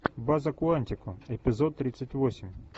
база куантико эпизод тридцать восемь